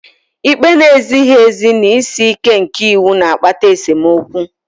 Ikpe na-ezighị ezi na isi ike nke iwu na-akpata esemokwu